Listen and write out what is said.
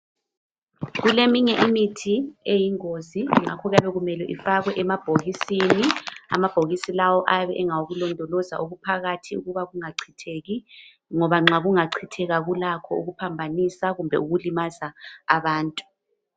Kuleminye imithi eyingozi ngakho kuyabe kumele ifakwe emabhokisini Amabhokisi lawo ayabe engawokulondoloza okuphakathi ukuba kungachitheki ngoba nxa kungachitheka kulakho ukuphambanisa kumbe ukulimaza abantu.